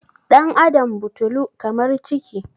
ɗan' Adam butulu kamar ciki